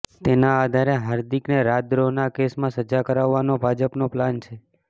તેના આધારે હાર્દિકને રાજદ્રોહના કેસમાં સજા કરાવવાનો ભાજપનો પ્લાન છે